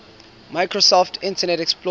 microsoft internet explorer